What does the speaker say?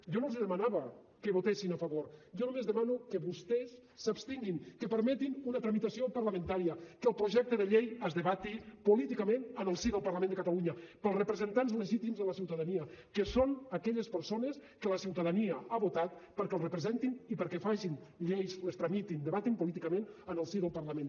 jo no els demanava que votessin a favor jo només demano que vostès s’abstinguin que permetin una tramitació parlamentària que el projecte de llei es debati políticament en el si del parlament de catalunya pels representants legítims de la ciutadania que són aquelles persones que la ciutadania ha votat perquè els representin i perquè facin lleis les tramitin debatin políticament en el si del parlament